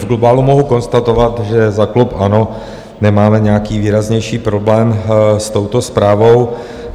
V globálu mohu konstatovat, že za klub ANO nemáme nějaký výraznější problém s touto zprávou.